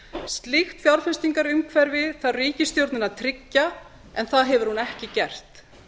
slíkt fjárfestingarumhverfi þarf ríkisstjórnin að tryggja en það hefur hún ekki gert